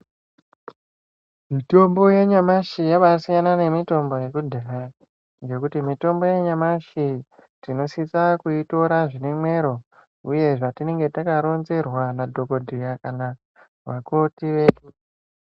Mitombo yanyamashi yabaasiyana nemitombo yekudhaya ngekuti mitombo yanyamshi tinosisa kuitora zvine mwero uye zvatinenge takaronzerwa nadhokodheya kana vakoti vedu.